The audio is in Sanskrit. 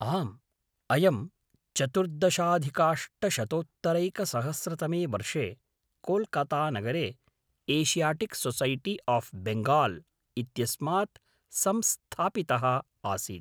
आम्, अयं चतुर्दशाधिकाष्टशतोत्तरैकसहस्रतमे वर्षे कोल्कातानगरे एषियाटिक् सोसैटी आफ् बेङ्गाल् इत्यस्मात् संस्थापितः आसीत्।